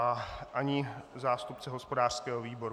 A ani zástupce hospodářského výboru.